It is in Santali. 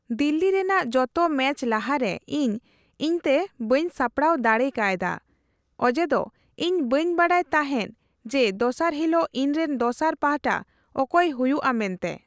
ᱫᱤᱞᱞᱤ ᱨᱮᱱᱟᱜ ᱡᱚᱛᱚ ᱢᱮᱪ ᱞᱟᱦᱟᱨᱮ ᱤᱧ ᱤᱧᱛᱮ ᱵᱟᱹᱧ ᱥᱟᱯᱲᱟᱣ ᱫᱟᱲᱮᱠᱟᱭᱫᱟ ᱚᱡᱮᱫᱚ ᱤᱧ ᱵᱟᱹᱧ ᱵᱟᱰᱟᱭ ᱛᱟᱦᱮᱱ ᱡᱮ ᱫᱚᱥᱟᱨ ᱦᱤᱞᱚᱜ ᱤᱧᱨᱮᱱ ᱫᱚᱥᱟᱨ ᱯᱟᱦᱴᱟ ᱚᱠᱚᱭ ᱦᱩᱭᱩᱜᱼᱟ ᱢᱮᱱᱛᱮ ᱾